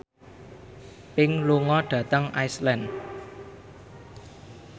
Pink lunga dhateng Iceland